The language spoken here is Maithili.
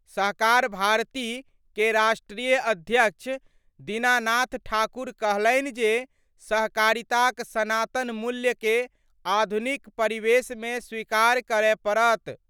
सहकार भारती क राष्ट्रीय अध्यक्ष दीनानाथ ठाकुर कहलनि जे सहकारिता क सनातन मूल्य के आधुनिक परिवेश मे स्वीकार करय पड़त।